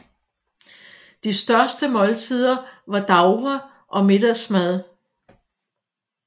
De største måltider var davre og middagsmad